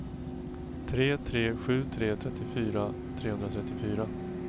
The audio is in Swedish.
tre tre sju tre trettiofyra trehundratrettiofyra